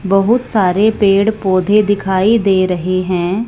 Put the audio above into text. बहुत सारे पेड़ पौधे दिखाई दे रहे हैं।